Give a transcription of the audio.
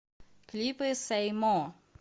клипы сэй мо